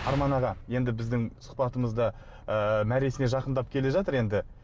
арман аға енді біздің сұхбатымыз да ыыы мәресіне жақындап келе жатыр енді